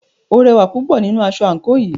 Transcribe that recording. O rẹwà púpọ̀ nínú aṣọ àńkò yìí.